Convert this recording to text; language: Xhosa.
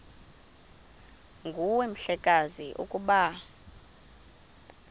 nguwe mhlekazi ukuba